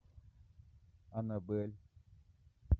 анабель